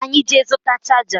Ka anyị jee zụta chaja